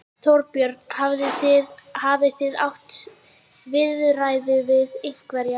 Þorbjörn: Hafið þið átt viðræður við einhverja?